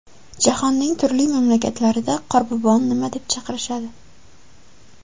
Jahonning turli mamlakatlarida Qorboboni nima deb chaqirishadi?.